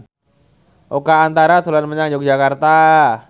Oka Antara dolan menyang Yogyakarta